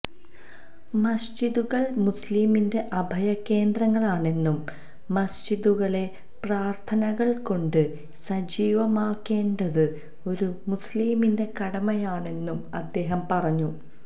മസ്ജിദുകള് മുസ്ലിമിന്റെ അഭയ കേന്ദ്രങ്ങളാണെന്നും മസ്ജിദുകളെ പ്രാര്ഥനകള് കൊണ്ട് സജീവമാക്കേണ്ടത് ഒരു മുസ്ലിമിന്റെ കടമയാണെന്നും അദ്ദേഹം പറഞ്ഞു